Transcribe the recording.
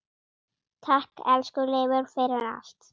Takk, elsku Leifur, fyrir allt.